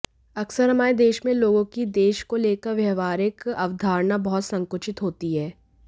अक्सर हमारे देश में लोगों की देश को लेकर व्यावहारिक अवधारणा बहुत संकुचित होती है